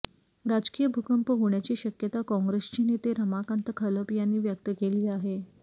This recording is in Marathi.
राजकीय भूकंप होण्याची शक्यता काँग्रेसचे नेते रमाकांत खलप यांनी व्यक्त केली आहे